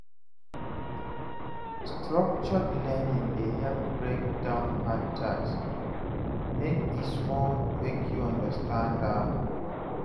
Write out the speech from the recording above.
Structured learning dey help break down hard tasks make e small make you understand am